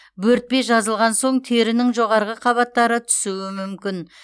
бөртпе жазылған соң терінің жоғарғы қабаттары түсуі мүмкін